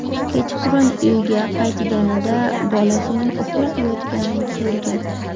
Kechqurun uyiga qaytganida bolasining uxlab yotganini ko‘rgan.